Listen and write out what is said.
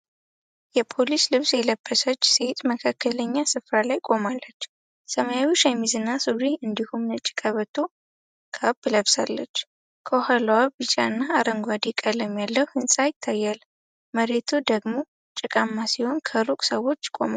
የፖሊስ ልብስ የለበሰች ሴት መካከለኛ ስፍራ ላይ ቆማለች። ሰማያዊ ሸሚዝና ሱሪ እንዲሁም ነጭ ቀበቶና ካፕ ለብሳለች። ከኋላዋ ቢጫና አረንጓዴ ቀለም ያለው ህንፃ ይታያል። መሬቱ ደግሞ ጭቃማ ሲሆን፣ ከሩቅ ሰዎች ቆመዋል።